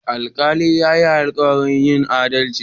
Alkalin ya yi alkawarin yin adalci.